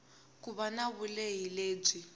ku va na vulehi lebyi